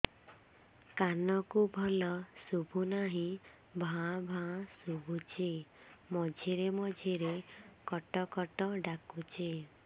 କାନକୁ ଭଲ ଶୁଭୁ ନାହିଁ ଭାଆ ଭାଆ ଶୁଭୁଚି ମଝିରେ ମଝିରେ କଟ କଟ ଡାକୁଚି